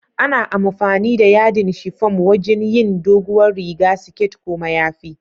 Ana amfani da yadin shifum wajin yin dogowar riga, siket ko mayafi.